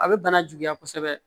A bɛ bana juguya kosɛbɛ